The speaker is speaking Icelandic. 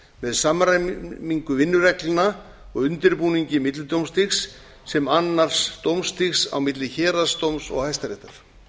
með samræmingu vinnureglna og undirbúningi millidómstigs sem annars dómstigs á milli héraðsdóms og hæstaréttar